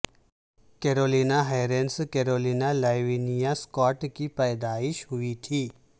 Caroline Harrison Caroline Lavinia Scott کی پیدائش ہوئی تھی